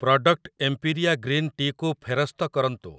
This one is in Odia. ପ୍ରଡ଼କ୍ଟ୍ ଏମ୍ପିରିଆ ଗ୍ରୀନ୍ ଟି କୁ ଫେରସ୍ତ କରନ୍ତୁ ।